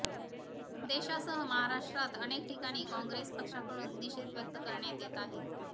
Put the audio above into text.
देशासह महाराष्ट्रात अनेक ठिकाणी काँग्रेस पक्षाकडून निषेध व्यक्त करण्यात येत आहे